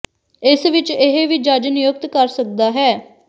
ਇਸ ਵਿਚ ਇਹ ਵੀ ਜੱਜ ਨਿਯੁਕਤ ਕਰ ਸਕਦਾ ਹੈ